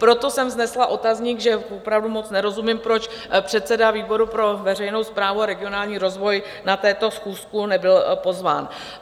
Proto jsem vznesla otazník, že opravdu moc nerozumím, proč předseda výboru pro veřejnou správu a regionální rozvoj na tuto schůzku nebyl pozván.